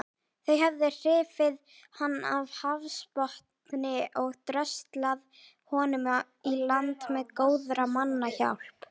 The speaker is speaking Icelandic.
Þau höfðu hrifið hann af hafsbotni og dröslað honum í land með góðra manna hjálp.